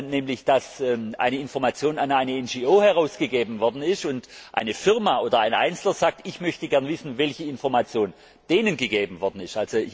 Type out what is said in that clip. nämlich dass eine Information an eine NGO herausgegeben worden ist und eine Firma oder ein Einzelner sagt Ich möchte gerne wissen, welche Information denen gegeben worden ist.